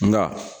Nka